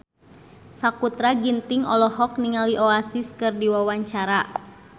Sakutra Ginting olohok ningali Oasis keur diwawancara